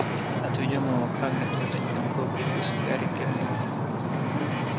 отведём его к хагриду это недалеко обратился гарри к гермионе